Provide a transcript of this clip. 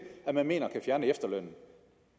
at man mener at kunne fjerne efterlønnen